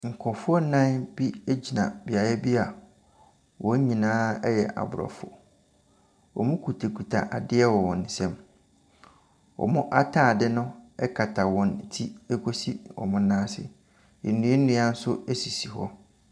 Nkurɔfoɔ nnan bi gyina beaeɛ bi a wɔn nyinaa yɛ Aborɔfo. Wɔkitakita adeɛ wɔ wɔn nsam. Wɔn atadeɛ no kata wɔn ti kɔsi wɔn nan ase. Nnua nnua nso sisi hɔ.